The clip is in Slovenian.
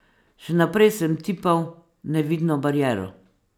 Še naprej sem tipal nevidno bariero.